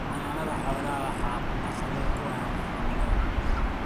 Xanaanada xoolaha waxaa caqabad ku ah cimilada.